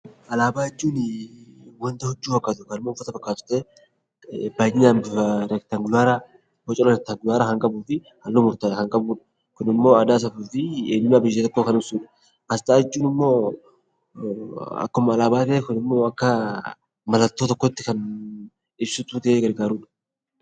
Alaabaa jechuun waanta halluu fakkaatu baayyinaan reektaangulara kan qabuu fi halluu murtaa'e kan qabu . Kun immoo aadaa, safuu fi eenyummaa saba tokkoo kan ibsudha. Asxaa jechuun immoo akkuma alaabaa ta'ee akka mallattoo tokkotti ibsituu ta'ee gargaarudha.